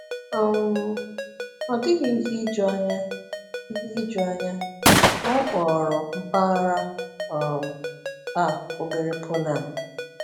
um Ọ dịghị ihe ijuanya ihe ijuanya na a kpọrọ mpaghara um a Obere Poland.